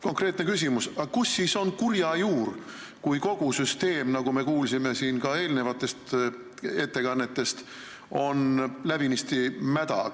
Konkreetne küsimus: aga kus on kurja juur, kui kogu süsteem, nagu me kuulsime ka eelnevatest ettekannetest, on läbinisti mäda?